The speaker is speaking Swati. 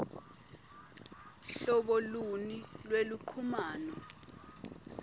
hlobo luni lweluchumano